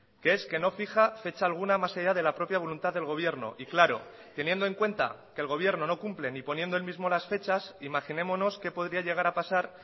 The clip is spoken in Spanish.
que es que no fija fecha alguna más allá de la propia voluntad del gobierno y claro teniendo en cuenta que el gobierno no cumple ni poniendo él mismo las fechas imaginémonos qué podría llegar a pasar